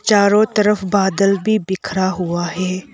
चारों तरफ बादल भी बिखरा हुआ है।